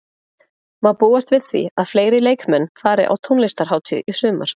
Má búast við því að fleiri leikmenn fari á tónlistarhátíð í sumar?